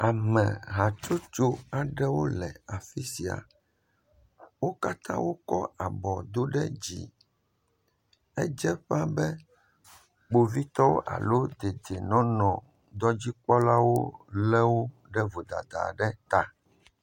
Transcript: Ameha aɖewo le dziƒo le gaɖɔ aɖe dzi. Eɖewo do asi ɖe dzi eye ɖewo lé gaɖɔ ɖe ɖe asi, ŋu aɖe le axa dzi.